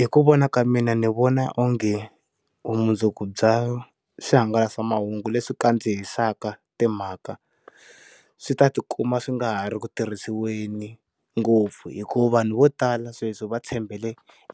Hi ku vona ka mina ndzi vona onge u vumundzuku bya swihangalasamahungu leswi kandzihisaka timhaka swi ta tikuma swi nga ha ri ku tirhisiweni ngopfu hikuva vanhu vo tala sweswi va tshembele